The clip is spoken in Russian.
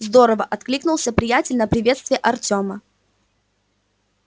здорово откликнулся приятель на приветствие артёма